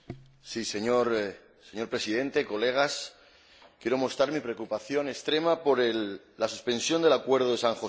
Señor Presidente, colegas, quiero mostrar mi preocupación extrema por la suspensión del Acuerdo de San José.